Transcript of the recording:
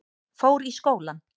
Fór í skólann.